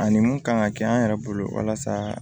Ani mun kan ka kɛ an yɛrɛ bolo walasa